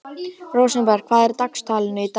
Rósenberg, hvað er í dagatalinu í dag?